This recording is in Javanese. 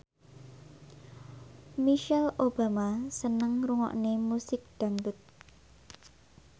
Michelle Obama seneng ngrungokne musik dangdut